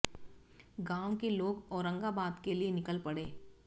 गांव के लोग औरंगाबाद के लिए निकल पड़े